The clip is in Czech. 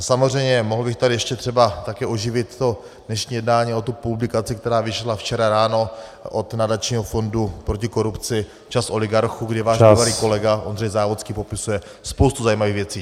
A samozřejmě mohl bych tady ještě třeba také oživit to dnešní jednání o tu publikaci, která vyšla včera ráno, od Nadačního fondu proti korupci, Čas oligarchů , kde váš bývalý kolega Ondřej Závodský popisuje spoustu zajímavých věcí.